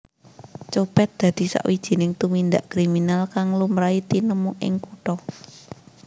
Copet dadi sawijining tumindak kriminal kang lumrahe tinemu ing kutha